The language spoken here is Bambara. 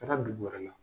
Taara dugu wɛrɛ la